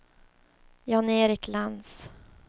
Jan-Erik Lantz